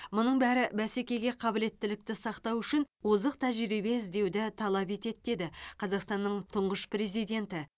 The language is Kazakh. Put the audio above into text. мұның бәрі бәсекеге қабілеттілікті сақтау үшін озық тәжірибе іздеуді талап етеді деді қазақстанның тұңғыш президенті